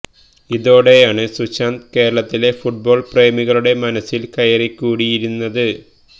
ഇതോടെയാണ് സുശാന്ത് കേരളത്തിലെ ഫുട്ബോൾ പ്രേമികളുടെ മനസിൽ കയറി കുടിയിരുന്നത്